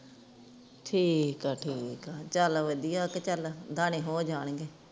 ਠੀਕ ਆ ਠੀਕ ਆ ਚਲ ਵਦੀਆ ਕੇ ਚਲ ਦਾਣੇ ਹੋ ਜਾਣਗੇ